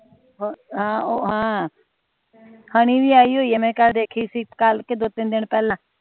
ਹਮ ਉਹ ਹਮ ਹਨੀ ਵੀ ਆਈ ਹੋਈ ਆ ਮੈਂ ਕੱਲ ਦੇਖੀ ਸੀ ਕੱਲ ਕਿ ਦੋ ਤਿੰਨ ਦਿਨ ਪਹਿਲਾ